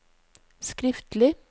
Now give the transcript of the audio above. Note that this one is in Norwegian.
skriftlig